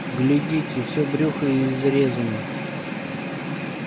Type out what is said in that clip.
глядите все брюхо изрезано